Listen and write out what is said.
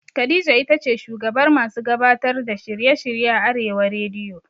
Khadija itace shugabar masu gabatar da shirye shirye a arewa rediyo